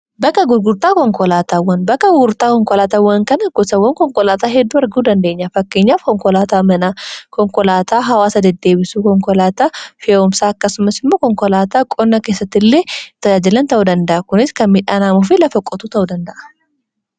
baka gurgurtaa konkolaataawwan baka gugurtaa konkolaataawwan kana gosawwan konkolaataa hedduu warguu dandeenya fakkeenyaaf konkolaataa mina konkolaataa hawaasa deddeebisu konkolaataa fi yawumsaa akkasumas immoo konkolaataa qonna keessatti illee itajaajilan ta'uu danda'a kunis kan midhaanaamuufi lafaqotuu ta'uu danda'a